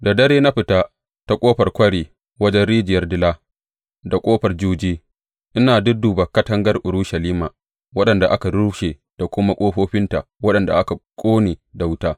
Da dare na fita ta Ƙofar Kwari wajen Rijiyar Dila da Ƙofar Juji, ina dudduba katangar Urushalima waɗanda aka rushe da kuma ƙofofinta waɗanda aka ƙone da wuta.